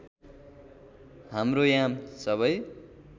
हाम्रो याम सबै